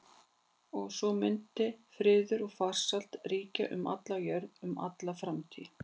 Og svo mundi friður og farsæld ríkja um alla jörð um alla framtíð.